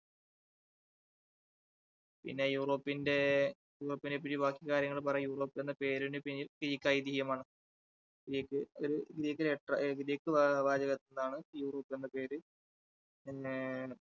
പിന്നെ യൂറോപ്പിന്റെ, യൂറോപ്പിനെ പറ്റി ബാക്കി കാര്യങ്ങൾ പറയുമ്പോൾ യൂറോപ്പ് എന്ന പേരിന് പിന്നിൽ greek ഐതിഹ്യമാണ്. greek ഒരു greek letter ഒരു Greek വാച~വാചകത്തിൽ നിന്നാണ് യൂറോപ്പ് എന്ന പേര് പിന്നെ,